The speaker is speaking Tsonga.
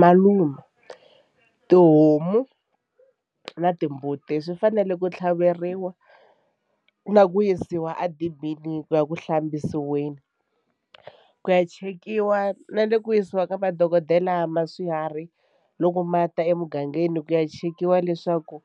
Malume tihomu na timbuti swi fanele ku tlhaveriwa na ku yisiwa edibini ku ya ku hlambisiweni ku ya chekiwa na le ku yisiwa ka madokodela ma swiharhi loko ma ta emugangeni ku ya chekiwa leswaku